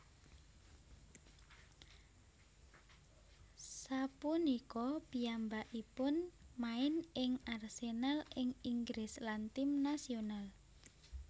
Sapunika piyambakipun main ing Arsenal ing Inggris lan tim nasional